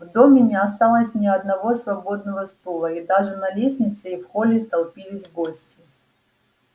в доме не осталось ни одного свободного стула и даже на лестнице и в холле толпились гости